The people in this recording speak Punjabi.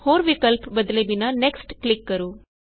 ਹੋਰ ਵਿਕਲਪ ਬਦਲੇ ਬਿਨਾ ਨੈਕਸਟ ਕਲਿਕ ਕਰੋ